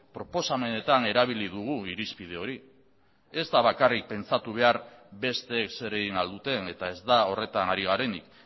proposamenetan erabili dugu irizpide hori ez da bakarrik pentsatu behar besteek zer egin ahal duten eta ez da horretan ari garenik